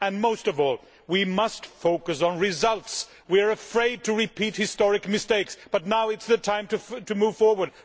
And most of all we must focus on results. We are afraid to repeat historical mistakes, but now is the time to move forward.